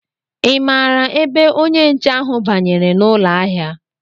Ị maara ebe onye nche ahụ banyere n'ụlọ ahịa?